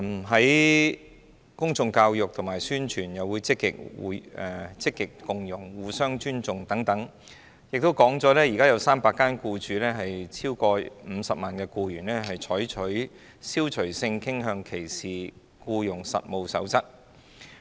在公眾教育及宣傳方面，我們積極推廣共融、互相尊重"，當中亦提及目前已經有超過300間共僱用超過50萬僱員的機構採納《消除性傾向歧視僱傭實務守則》。